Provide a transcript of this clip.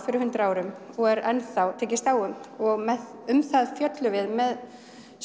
fyrir hundrað árum og er ennþá tekist á um og um það fjöllum við með